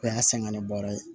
O y'a sɛgɛnnen bɔrɛ ye